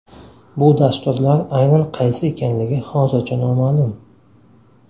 Bu dasturlar aynan qaysi ekanligi hozircha noma’lum.